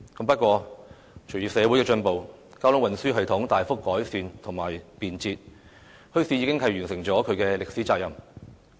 不過，隨着社會進步，交通運輸系統大幅改善和便捷，墟市已完成其歷史責任。